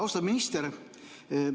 Austatud minister!